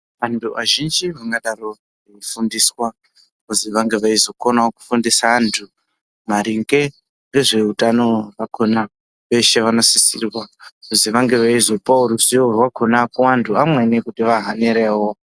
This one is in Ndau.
Antu azhinji anodaro mukafundiswa kuti vange veizokona kufundisa antu maringe nezvehutano vakona veshe vanosisirwa kuti vange veizokona ruzivo rwakona kuti amwnei ange eizozivawo.